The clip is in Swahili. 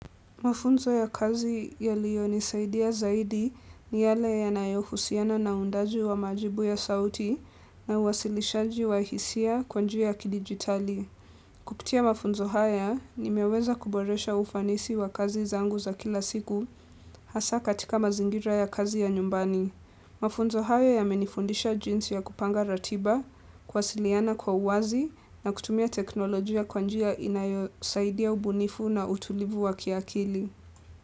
Mafunzo ya kazi yaliyonisaidia zaidi ni yale yanayohusiana na uundaji wa majibu ya sauti na uwasilishaji wa hisia kwa njia ya kidijitali. Kupitia mafunzo haya nimeweza kuboresha ufanisi wa kazi zangu za kila siku hasaa katika mazingira ya kazi ya nyumbani. Mafunzo hayo yamenifundisha jinsi ya kupanga ratiba, kuwasiliana kwa uwazi na kutumia teknolojia kwa njia inayosaidia ubunifu na utulivu wa kiakili.